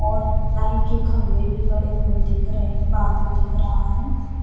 और लाइट के खम्बे भी खड़े हुए दिख रहे है बादल दिख रहा है।